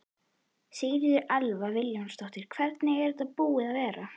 Sigríður Elva Vilhjálmsdóttir: Hvernig er þetta búið að vera?